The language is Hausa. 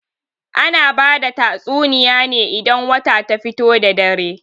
Ana bada tatsuniya ne idan wata ta fito da dare.